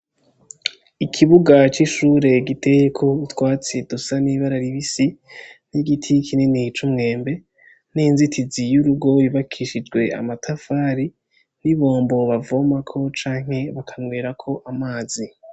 Ikibuga c'ishure giteyeko utwatsi dusa n'ibara ribisi n'igiti kinini c'umwembe n'inzitizi y'urugo yubakishijwe amatafari, n'ibombo bavomako canke bakanwerako amazi.